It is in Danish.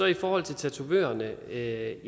i forhold til tatovørerne er